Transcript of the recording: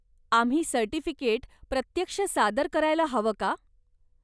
आम्ही सर्टिफिकेट प्रत्यक्ष सादर करायला हवं का?